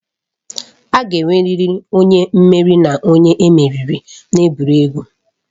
A ga-enwerịrị onye mmeri na onye emeriri n'egwuregwu.